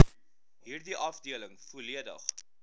hierdie afdeling volledig